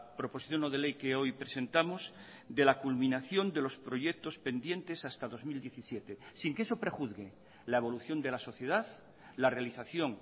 proposición no de ley que hoy presentamos de la culminación de los proyectos pendientes hasta dos mil diecisiete sin que eso prejuzgue la evolución de la sociedad la realización